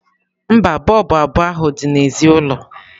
mba, bọlbụ abụọ ahụ dị n'èzí ụlọ.